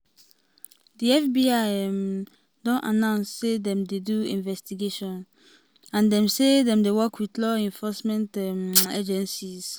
di fbi um don announce say dem dey do investigation and dem say dem dey work wit local law enforcement um agencies.